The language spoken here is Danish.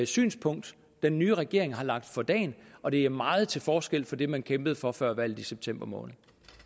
synspunkt den nye regering har lagt for dagen og det er meget til forskel fra det man kæmpede for før valget i september måned